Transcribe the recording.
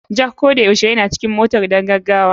Jack koyaushe yana cikin motar don gaggawa.